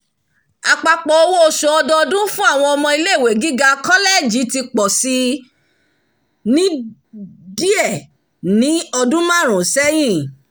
àpapọ̀ owó-oṣù ọdọọdún fún àwọn ọmọ ilé-ìwé gíga kọlẹji ti pọ̀ si díẹ̀ ni ọdún márùn-ún sẹ́yìn